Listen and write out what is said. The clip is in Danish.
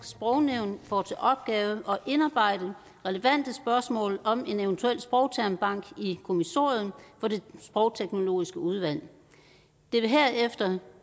sprognævn får til opgave at indarbejde relevante spørgsmål om en eventuel sprogtermbank i kommissoriet for det sprogteknologiske udvalg det vil herefter